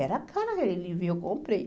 Era caro aquele livro e eu comprei.